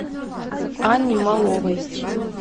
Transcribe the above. анне маловой